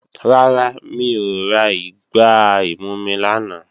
Rárá, mi ò ra igbá ìmumi lánàá